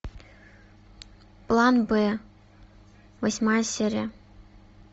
план б восьмая серия